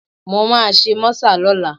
Mo máa ṣe mọ́sà lọ́la